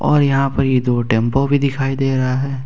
और यहां पर ये दो टेंपो भी दिखाई दे रहा है।